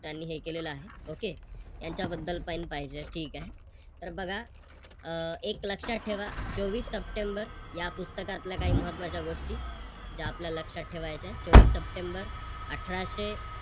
त्यांनी हे केलेल आहे. Okay त्यांच्याबद्दल पण पाहिजे ठीक आहे. तर बघा अह एक लक्षात ठेवा चोवीस सप्टेंबर या पुस्तकातल्या काही महत्त्वाच्या गोष्टी ज्या आपल्या लक्षात ठेवायच्या आहे. चोवीस सप्टेंबर अठराशे